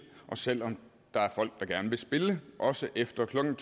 og selv om der er folk der gerne vil spille også efter klokken